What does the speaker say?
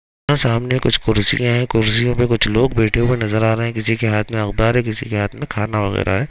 यहाँ सामने कुछ कुर्सियां है। कुर्सियों पर कुछ लोग बैठे हुए नजर आ रहे हैं। किसी के हाथ में अवतार है। किसी के हाथ में खाना वगैरा है।